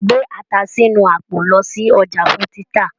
Gbé ata sínú àpò lọ sí ọjà fún títà.